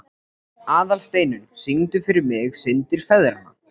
Aðalsteinunn, syngdu fyrir mig „Syndir feðranna“.